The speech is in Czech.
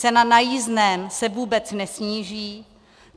Cena na jízdném se vůbec nesníží.